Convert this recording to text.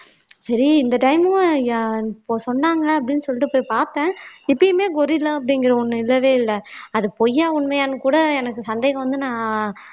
சரி இந்த time மும் இப்ப சொன்னாங்க அப்படின்னு சொல்லிட்டு போய் பார்த்தேன் எப்பயுமே கொரில்லா அப்படிங்கற ஒண்ணு இல்லவே இல்லை அது பொய்யா உண்மையான்னு கூட எனக்கு சந்தேகம் வந்து நான்